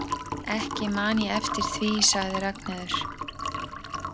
Ekki man ég eftir því, sagði Ragnheiður.